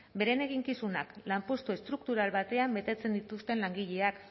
beren eginkizunak lanpostu estruktural batean betetzen dituzten langileak